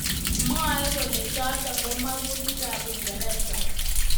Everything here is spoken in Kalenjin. Mwaat kele chotok ko mangutik ab Uingereza.